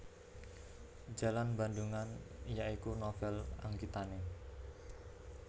Jalan Bandungan ya iku novel anggitane